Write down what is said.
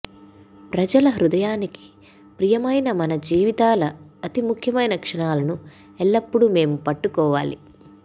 ప్రజల హృదయానికి ప్రియమైన మన జీవితాల అతి ముఖ్యమైన క్షణాలను ఎల్లప్పుడూ మేము పట్టుకోవాలి